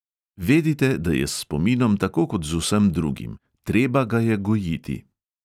"Vedite, da je s spominom tako kot z vsem drugim: treba ga je gojiti."